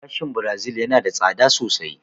Gashin Birazil yana da tsada sosai